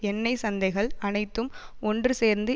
எண்ணெய் சந்தைகள் அனைத்தும் ஒன்று சேர்ந்து